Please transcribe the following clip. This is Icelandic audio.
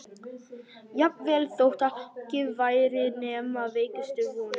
Jafnvel þótt ekki væri nema veikustu vonina.